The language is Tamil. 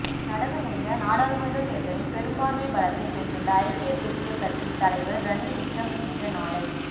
நடந்து முடிந்த நாடாளுமன்றத் தேர்தலில் பெரும்பான்மைப் பலத்தைப் பெற்றுள்ள ஐக்கிய தேசியக் கட்சியின் தலைவர் ரணில் விக்கிரசிங்க நாளை